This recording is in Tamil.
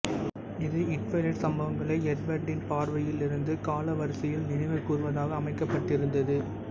இது ட்விலைட் சம்பவங்களை எட்வர்டின் பார்வையில் இருந்து காலவரிசையில் நினைவு கூர்வதாக அமைக்கப்பட்டிருந்தது